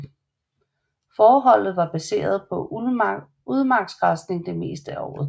Fåreholdet var baseret på udmarksgræsning det meste af året